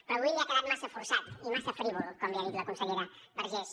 però avui li ha quedat massa forçat i massa frívol com li ha dit la consellera vergés